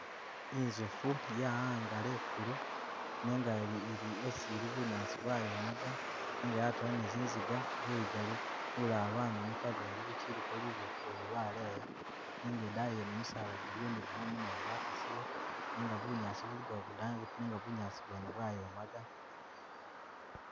I'nzoofu ya'angala e'kulu nenga ili ili esi ili bunyaasi bwayomaga nenga yatula ni zinziga, luyiga lu lulala lwamenyuka lundi luchiliko luboofu lwene lwaleya nenga e'daayi yene misaala jiliyo ni gumumu nayo gwakasile nenga bunyaasi buligawo budambi nenga bunyaasi wene bwayomaga